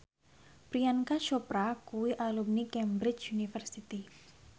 Priyanka Chopra kuwi alumni Cambridge University